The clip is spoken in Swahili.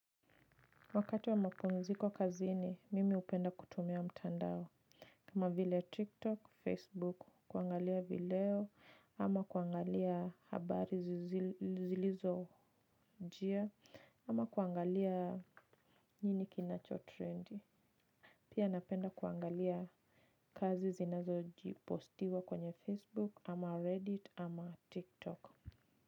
Wakati wa mapumziko kazini, mimi hupenda kutumia mtandao kama vile TikTok, Facebook, kuangalia video, ama kuangalia habari zilizo jia, ama kuangalia nini kinacho trendi. Pia napenda kuangalia kazi zinazo jipostiwa kwenye Facebook, ama Reddit, ama TikTok.